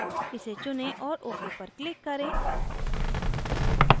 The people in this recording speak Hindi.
इसे चुनें और ok पर click करें